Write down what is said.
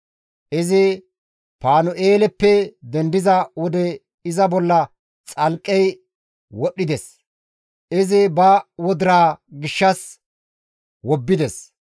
Izi Panu7eeleppe dendiza wode iza bolla xalqqey kezides; izi ba wodiraa gishshas wobbides.